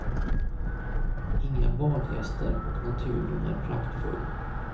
Inga badgäster och naturen är praktfull.